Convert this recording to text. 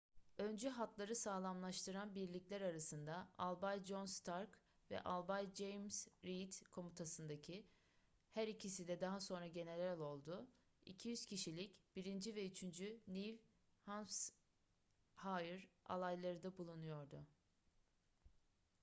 öncü hatları sağlamlaştıran birlikler arasında albay john stark ve albay james reed komutasındaki her ikisi de daha sonra general oldu 200 kişilik 1. ve 3. new hampshire alayları da bulunuyordu